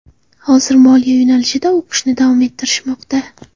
Hozir moliya yo‘nalishida o‘qishni davom ettirishmoqda.